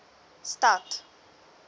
stad